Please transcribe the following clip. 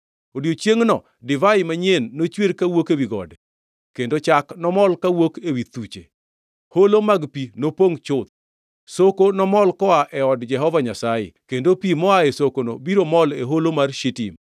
“Odiechiengʼno divai manyien nochwer kawuok ewi gode; kendo chak nomol kawuok ewi thuche, holo mag pi nopongʼ chuth. Soko nomol koa e od Jehova Nyasaye kendo pi moaye sokono biro mol e holo mar Shitim.